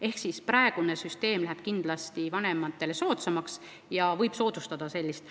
Ehk süsteem läheb kindlasti vanematele soodsamaks ja võib sellist asja soodustada.